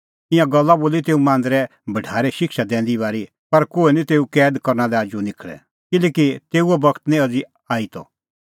ईंयां गल्ला बोली तेऊ मांदरे भढारै शिक्षा दैंदी बारी पर कोहै निं तेऊ कैद करना लै आजू निखल़ै किल्हैकि तेऊओ बगत निं अज़ी आई त